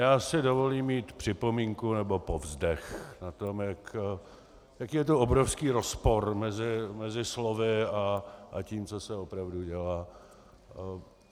Já si dovolím mít připomínku nebo povzdech na to, jaký je to obrovský rozpor mezi slovy a tím, co se opravdu dělá.